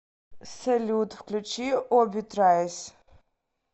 салют включи оби трайс